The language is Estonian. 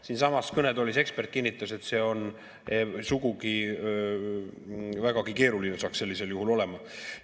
Siinsamas kõnetoolis ekspert kinnitas, et vägagi keeruline saaks sellisel juhul olema.